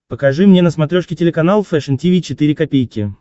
покажи мне на смотрешке телеканал фэшн ти ви четыре ка